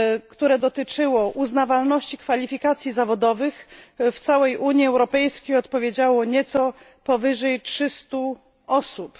które dotyczyło uznawalności kwalifikacji zawodowych w całej Unii Europejskiej, odpowiedziało nieco powyżej 300 osób.